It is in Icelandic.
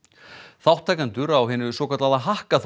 þátttakendur á hinu svokallaða